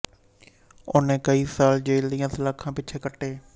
ਉਨ੍ਹਾਂ ਕਈ ਸਾਲ ਜੇਲ੍ਹ ਦੀਆਂ ਸਲਾਖਾਂ ਪਿਛੇ ਕੱਟੇ